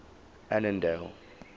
annandale